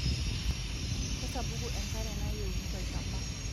Kesapuku enkare na yieuni tolchamba.